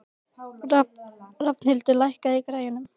Rafnhildur, lækkaðu í græjunum.